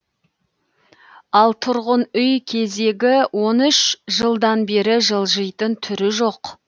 ал тұрғын үй кезегі он үш жылдан бері жылжитын түрі жоқ